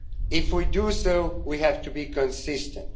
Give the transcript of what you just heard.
If we do, we have to be consistent.